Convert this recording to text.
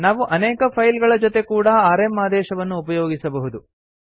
ನಾವು ಅನೇಕ ಫೈಲ್ ಗಳ ಜೊತೆ ಕೂಡಾ ಆರ್ಎಂ ಆದೇಶವನ್ನು ಉಪಯೋಗಿಸಬಹುದು